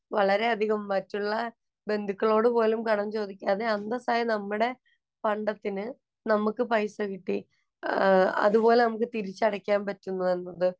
വളരെയധികം മറ്റുള്ള ബന്ധുക്കളോട് പോലും കടം ചോദിക്കാതെ അന്തസ്സായി നമ്മുടെ പണ്ടത്തിനു നമുക്ക് പൈസ കിട്ടി. അതുപോലെ നമുക്ക് തിരിച്ചടയ്ക്കാന്‍ പറ്റുന്നു എന്നത്